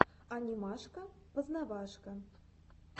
анимашка познавашка